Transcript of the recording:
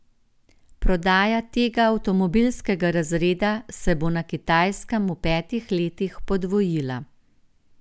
Prodaja tega avtomobilskega razreda se bo na Kitajskem v petih letih podvojila.